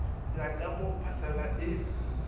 ya ka mo phasela e